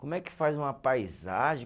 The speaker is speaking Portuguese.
Como é que faz uma paisagem?